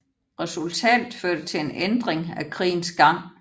Resultatet førte til en ændring af krigens gang